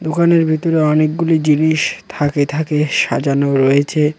দোকানের ভিতরে অনেকগুলি জিনিস থাখে থাখে সাজানো রয়েছে।